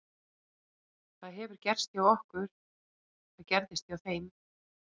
Það hefur gerst hjá okkur, það gerðist hjá þeim.